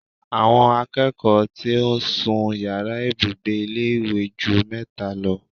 Àwọn akẹ́kọ̀ọ́ tí ń sun yàrá ìbùgbe ilé ìwé ju mẹ́ta lọ